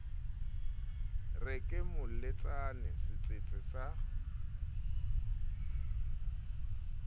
re ke moletsane setsetse sa